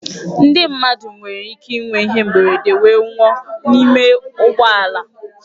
Ndị mmadụ nwere ike ịnwe ihe mberede wee nwụọ n'ime ụgbọ ala.